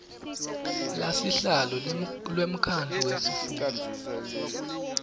lasihlalo wemkhandlu wetifundza